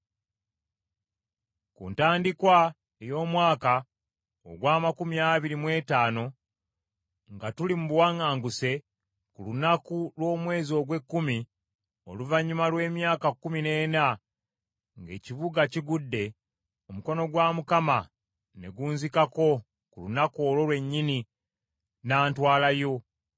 Ku ntandikwa ey’omwaka ogw’amakumi abiri mu etaano nga tuli mu buwaŋŋanguse, ku lunaku lw’omwezi ogw’ekkumi, oluvannyuma lw’emyaka kkumi n’ena ng’ekibuga kigudde, omukono gwa Mukama ne gunzikako ku lunaku olwo lwennyini, n’antwalayo.